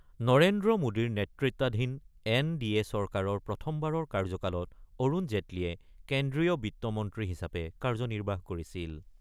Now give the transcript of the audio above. নৰেন্দ্ৰ মোদীৰ নেতৃত্বাধীন N D A চৰকাৰৰ প্ৰথমবাৰৰ কাৰ্যকালত অৰুণ জেটলীয়ে কেন্দ্ৰীয় বিত্তমন্ত্ৰী হিচাপে কাৰ্যনিৰ্বাহ কৰিছিল।